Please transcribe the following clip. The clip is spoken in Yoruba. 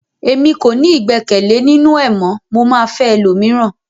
Èmi kò ní igbẹkẹle ninu ẹ mọ, mo ma fẹ ẹlòmíràn.